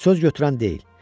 Söz götürən deyil.